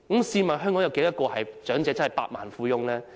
試問香港有多少長者真的是百萬富翁？